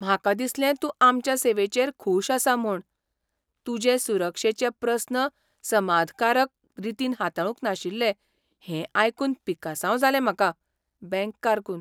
म्हाका दिसलें तूं आमच्या सेवेचेर खूश आसा म्हूण. तुजे सुरक्षेचे प्रस्न समाधकारक रितीन हाताळूंक नाशिल्ले हें आयकून पिकसांव जालें म्हाका. बँक कारकून